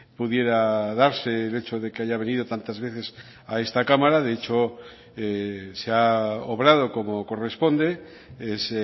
pudiera darse el hecho de que haya venido tantas veces a esta cámara de hecho se ha obrado como corresponde es